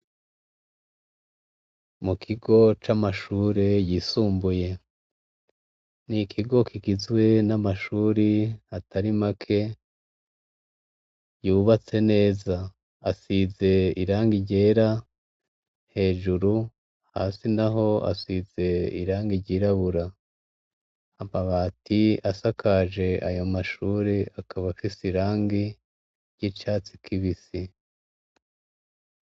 Mu kigo c'amashuri yisumbuye ni ikigo kigizwe n'amashuri atarimake yubatse neza asize iranga ryera hejuru hasi na ho asize iranga ryirabura amabati asakaje ayo mashure akaba afise irangi ry'icatsi kibisi.